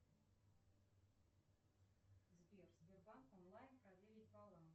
сбер сбербанк онлайн проверить баланс